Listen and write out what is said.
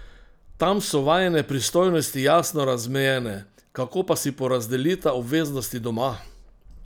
Tam so vajine pristojnosti jasno razmejene, kako pa si porazdelita obveznosti doma?